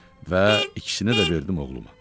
Və ikisini də verdim oğluma.